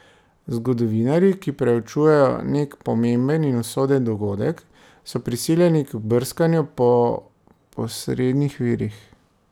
Zgodovinarji, ki preučujejo nek pomemben in usoden dogodek, so prisiljeni k brskanju po posrednih virih.